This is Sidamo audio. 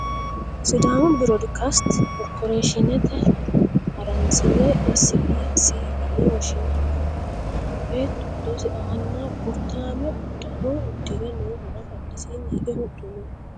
Sidaamu biroodikaste korporeshiinete haransine essi bii sii yine woshshinannihura beettu hedosi aanna burrittaame uddano uddire noohura badhesiinni hige huxxu no